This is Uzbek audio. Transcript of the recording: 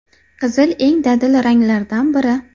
Qizil eng dadil ranglardan biri.